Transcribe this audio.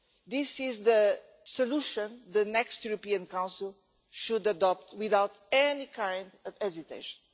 This is the solution the next European Council should adopt without any kind of hesitation.